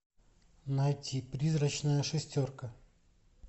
найти призрачная шестерка